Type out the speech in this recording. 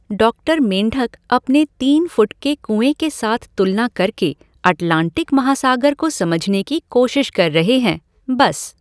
Doctor मेंढक अपने तीन फुट के कुएँ के साथ तुलना करके अटलांटिक महासागर को समझने की कोशिश कर रहे हैं, बस।